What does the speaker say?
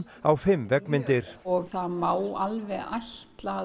á fimm veggmyndir og það má alveg ætla að